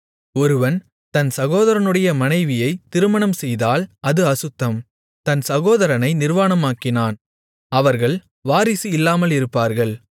ஒருவன் தன் சகோதரனுடைய மனைவியைத் திருமணம்செய்தால் அது அசுத்தம் தன் சகோதரனை நிர்வாணமாக்கினான் அவர்கள் வாரிசு இல்லாமலிருப்பார்கள்